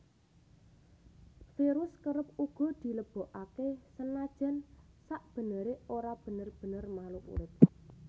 Virus kerep uga dilebokaké senajan sakbeneré ora bener bener makhluk urip